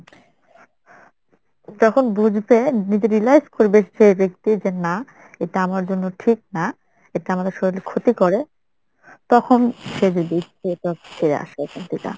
যখন বুজবে নিজে realise করবে সে ব্যক্তি যে না এটা আমার জন্য ঠিক না এটা আমাদের শরীরের ক্ষতি করে তখন সে যদি ফিরে আসে এখান থেইকা।